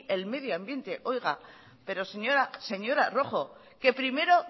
el medio ambiente oiga pero señora rojo que primero